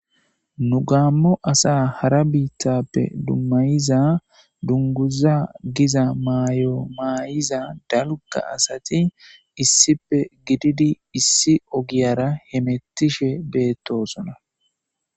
nu gaammo asa hara biittappe dummayiza dunguza giza maayo maayiza dalga asati issipe gididi issi ogiyara hemettishe beettosona